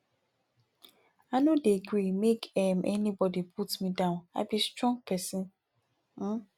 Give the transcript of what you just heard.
i no dey gree make um anybodi put me down i be strong pesin um